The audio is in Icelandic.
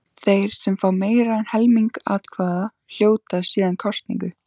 Þeir sem fá meira en helming atkvæða hljóta síðan kosningu.